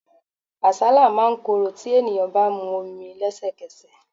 Àsálà máa ń korò tí ènìyàn bá mu omi lesekese.